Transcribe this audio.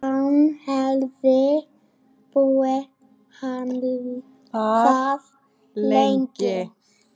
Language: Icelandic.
Hann hefði búið þar lengi.